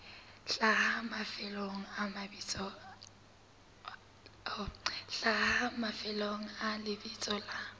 hlaha mafelong a lebitso la